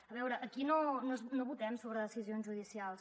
a veure aquí no votem sobre decisions judicials